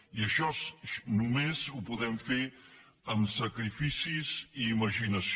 i això només ho podem fer amb sacrificis i imaginació